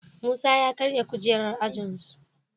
Musa ya karya kujerar ajin su